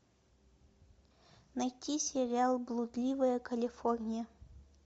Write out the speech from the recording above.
найти сериал блудливая калифорния